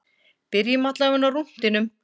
Byrjum allavega á rúntinum.